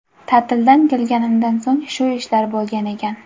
Ta’tildan kelganimdan so‘ng shu ishlar bo‘lgan ekan.